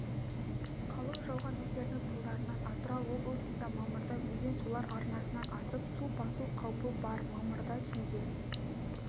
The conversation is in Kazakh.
қалың жауған нөсердің салдарынан атырау облысында мамырда өзен-сулар арнасынан асып су басу қаупі бар мамырда түнде